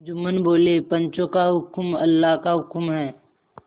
जुम्मन बोलेपंचों का हुक्म अल्लाह का हुक्म है